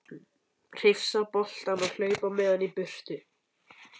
Hrifsa boltann og hlaupa með hann í burtu.